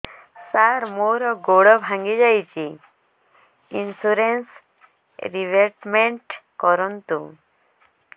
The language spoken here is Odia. ସାର ମୋର ଗୋଡ ଭାଙ୍ଗି ଯାଇଛି ଇନ୍ସୁରେନ୍ସ ରିବେଟମେଣ୍ଟ କରୁନ୍ତୁ